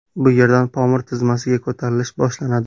Bu yerdan Pomir tizmasiga ko‘tarilish boshlanadi.